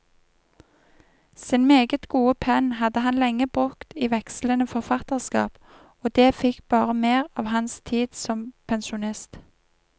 Sin meget gode penn hadde han lenge brukt i vekslende forfatterskap, og det fikk bare mer av hans tid som pensjonist.